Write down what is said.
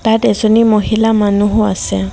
তাত এজনী মহিলা মানুহো আছে।